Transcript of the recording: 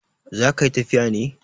Za ka yi tafiya ne?